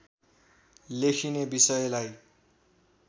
लेखिने विषयलाई